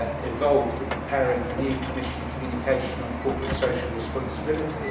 involved in preparing the new Commission Communication on Corporate Social Responsibility.